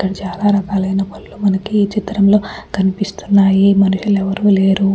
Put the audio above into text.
ఇక్కడ చాలా రకాలైన పళ్లు మనకి ఈ చిత్రం లో కనిపిస్తున్నాయి మనుషులు ఎవ్వరూ లేరు.